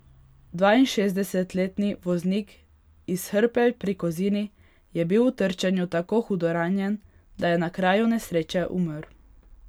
Dvainšestdesetletni voznik iz Hrpelj pri Kozini je bil v trčenju tako hudo ranjen, da je na kraju nesreče umrl.